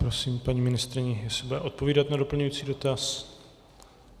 Prosím paní ministryni, jestli bude odpovídat na doplňující dotaz.